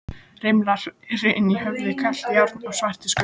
Rimlarnir eru inni í höfðinu, kalt járnið er svartur skuggi.